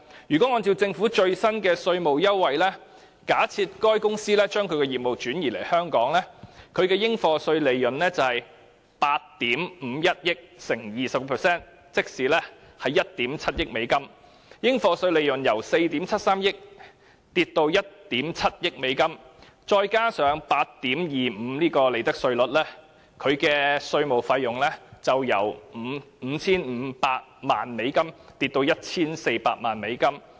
如果按照政府最新的稅務優惠，假設該公司將業務轉移到香港，它的應課稅利潤就是8億 5,100 萬美元乘以 20%， 即是1億 7,000 萬美元，應課稅利潤由4億 7,300 萬美元下跌至1億 7,000 萬美元，再加上 8.25% 的利得稅率，其稅務費用就會由 5,500 萬美元跌至 1,400 萬美元。